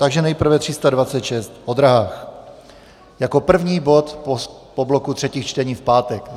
Takže nejprve 326 o dráhách jako první bod po bloku třetích čtení v pátek.